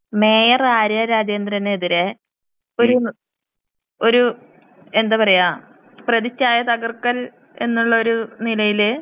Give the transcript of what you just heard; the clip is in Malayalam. ഒരു സംശയം ണ്ട് മേയർ ആര്യ രാജേന്ദ്രനെതിരെ ഒരു എന്താ പറയാ പ്രതിഛായ തകർക്കൽ എന്നുള്ള ഒരു നിലയില്.